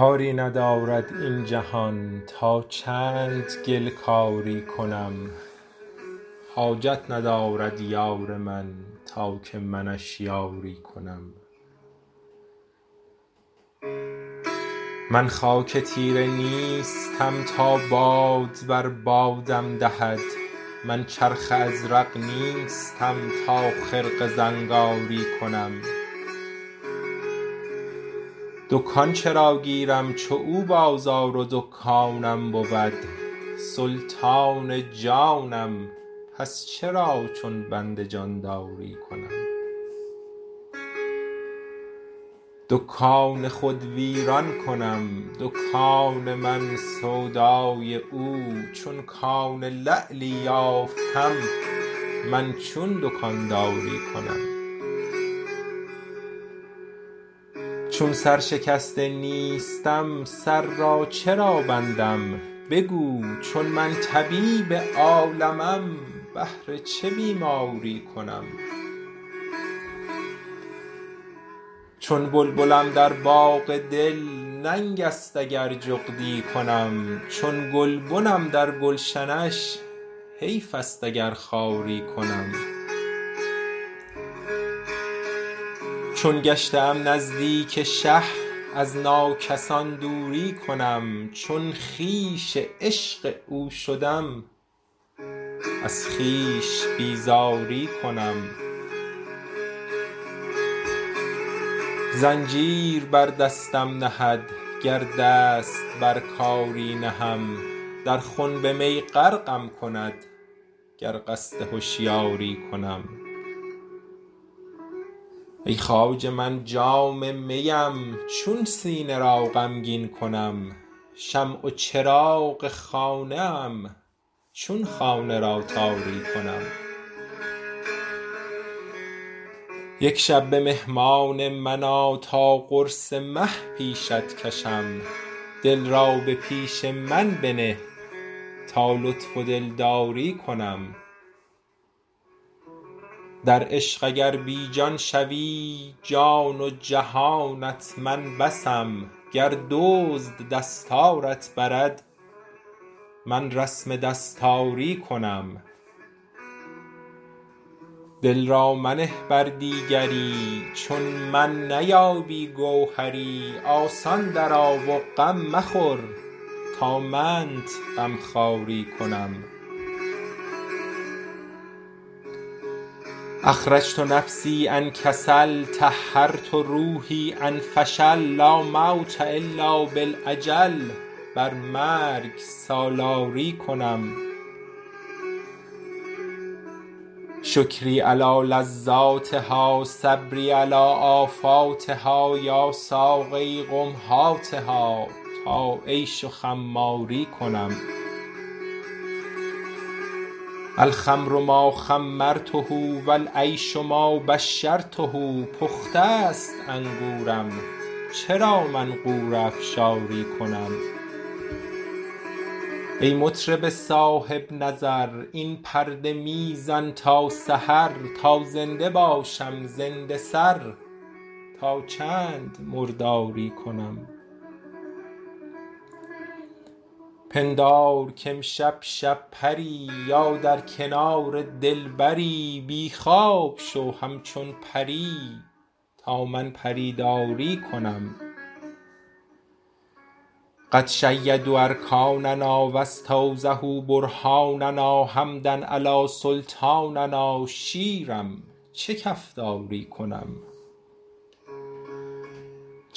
کاری ندارد این جهان تا چند گل کاری کنم حاجت ندارد یار من تا که منش یاری کنم من خاک تیره نیستم تا باد بر بادم دهد من چرخ ازرق نیستم تا خرقه زنگاری کنم دکان چرا گیرم چو او بازار و دکانم بود سلطان جانم پس چرا چون بنده جانداری کنم دکان خود ویران کنم دکان من سودای او چون کان لعلی یافتم من چون دکانداری کنم چون سرشکسته نیستم سر را چرا بندم بگو چون من طبیب عالمم بهر چه بیماری کنم چون بلبلم در باغ دل ننگست اگر جغدی کنم چون گلبنم در گلشنش حیفست اگر خاری کنم چون گشته ام نزدیک شه از ناکسان دوری کنم چون خویش عشق او شدم از خویش بیزاری کنم زنجیر بر دستم نهد گر دست بر کاری نهم در خنب می غرقم کند گر قصد هشیاری کنم ای خواجه من جام میم چون سینه را غمگین کنم شمع و چراغ خانه ام چون خانه را تاری کنم یک شب به مهمان من آ تا قرص مه پیشت کشم دل را به پیش من بنه تا لطف و دلداری کنم در عشق اگر بی جان شوی جان و جهانت من بسم گر دزد دستارت برد من رسم دستاری کنم دل را منه بر دیگری چون من نیابی گوهری آسان درآ و غم مخور تا منت غمخواری کنم اخرجت نفسی عن کسل طهرت روحی عن فشل لا موت الا بالاجل بر مرگ سالاری کنم شکری علی لذاتها صبری علی آفاتها یا ساقیی قم هاتها تا عیش و خماری کنم الخمر ما خمرته و العیش ما باشرته پخته ست انگورم چرا من غوره افشاری کنم ای مطرب صاحب نظر این پرده می زن تا سحر تا زنده باشم زنده سر تا چند مرداری کنم پندار کامشب شب پری یا در کنار دلبری بی خواب شو همچون پری تا من پری داری کنم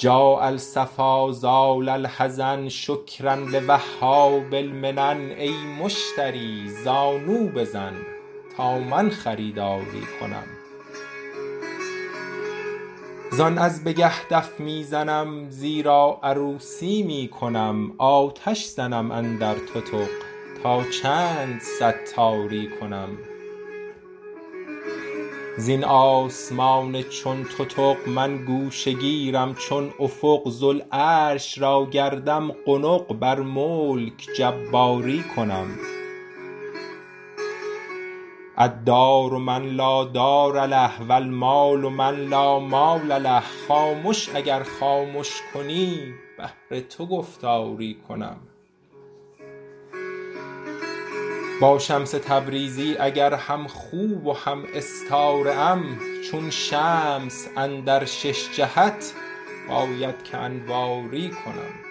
قد شیدوا ارکاننا و استوضحوا برهاننا حمدا علی سلطاننا شیرم چه کفتاری کنم جاء الصفا زال الحزن شکرا لوهاب المنن ای مشتری زانو بزن تا من خریداری کنم زان از بگه دف می زنم زیرا عروسی می کنم آتش زنم اندر تتق تا چند ستاری کنم زین آسمان چون تتق من گوشه گیرم چون افق ذوالعرش را گردم قنق بر ملک جباری کنم الدار من لا دار له و المال من لا مال له خامش اگر خامش کنی بهر تو گفتاری کنم با شمس تبریزی اگر همخو و هم استاره ام چون شمس اندر شش جهت باید که انواری کنم